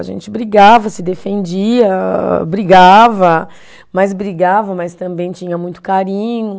A gente brigava, se defendia, brigava, mas brigava, mas também tinha muito carinho.